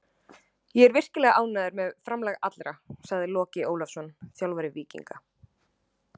Ég er virkilega ánægður með framlag allra, sagði Logi Ólafsson, þjálfari Víkinga.